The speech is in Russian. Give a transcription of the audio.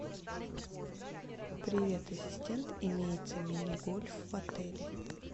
привет ассистент имеется мини гольф в отеле